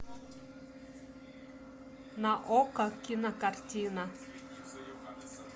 на окко кинокартина